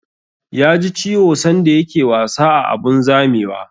Ya ji ciwo sanda ya ke wasa a abun zamewa